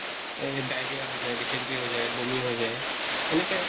এই diarrhea হৈ যায়, dysentery হৈ যায়, বমি হৈ যায় এনেকে